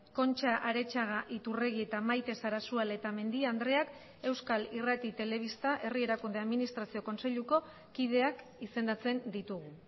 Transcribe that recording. concha aretxaga iturregi eta maite sarasua letamendia andreak euskal irrati telebista herri erakunde administrazio kontseiluko kideak izendatzen ditugu